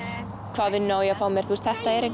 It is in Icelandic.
hvaða vinnu á ég að fá mér þetta er the